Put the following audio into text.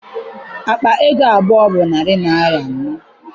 Akpa ego bụ narị naịra abụọ.